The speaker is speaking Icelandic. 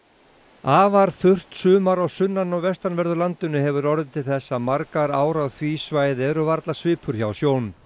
afar þurrt sumar á sunnan og vestanverðu landinu hefur orðið til þess að margar ár á því svæði eru varla svipur hjá sjón